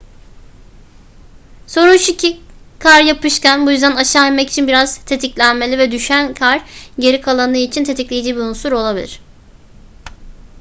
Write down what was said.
sorun şu ki kar yapışkan bu yüzden aşağı inmek için biraz tetiklenmeli ve düşen kar geri kalanı için tetikleyici bir unsur olabilir